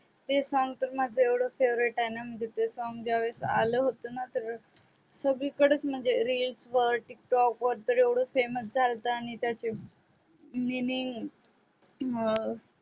ते song तर माझ एव्हड favorite आहे ना ते song ज्या वेळेस आल होत ना सगळीकडेच म्हणजे रील्स वर टिकटोक वर तर एव्हड फेमस झालत आणि त्याचे